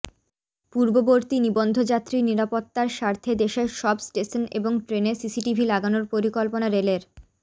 পূর্ববর্তী নিবন্ধযাত্রী নিরাপত্তার স্বার্থে দেশের সব স্টেশন এবং ট্রেনে সিসিটিভি লাগানোর পরিকল্পনা রেলের